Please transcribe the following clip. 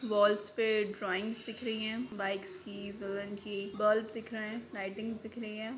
वोल्स पे ड्रॉइंग दिख रही है बाइक्स की विलेन की बल्ब दिख रहे है लाइटिंगस दिख रही है।